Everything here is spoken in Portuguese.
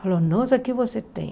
Falou, nossa, o que você tem?